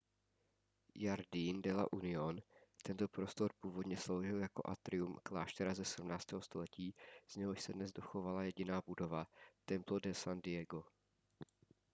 jardín de la unión tento prostor původně sloužil jako atrium kláštera ze 17. století z něhož se dnes dochovala jediná budova templo de san diego